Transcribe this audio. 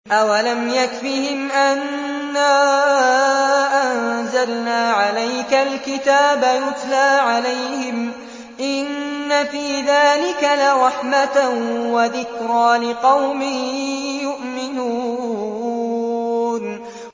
أَوَلَمْ يَكْفِهِمْ أَنَّا أَنزَلْنَا عَلَيْكَ الْكِتَابَ يُتْلَىٰ عَلَيْهِمْ ۚ إِنَّ فِي ذَٰلِكَ لَرَحْمَةً وَذِكْرَىٰ لِقَوْمٍ يُؤْمِنُونَ